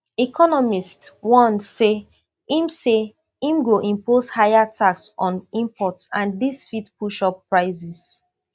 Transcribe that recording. economists warn say im say im go impose higher tax on imports and dis fit push up prices